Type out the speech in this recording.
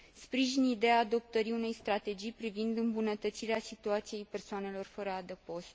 Sprijin ideea adoptării unei strategii privind îmbunătățirea situației persoanelor fără adăpost.